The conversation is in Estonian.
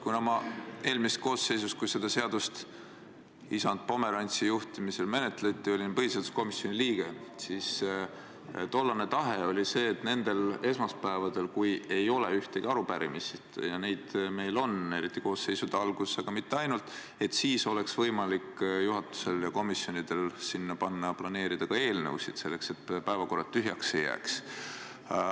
Kuna ma eelmises koosseisus, kui seda seadust isand Pomerantsi juhtimisel menetleti, olin põhiseaduskomisjoni liige, siis tean, et tollane tahe oli see, et nendele esmaspäevadele, kui ei ole ühtegi arupärimist – ja neid meil on, eriti koosseisude alguses, aga mitte ainult –, oleks juhatusel ja komisjonidel võimalik planeerida ka eelnõusid, et päevakord tühjaks ei jääks.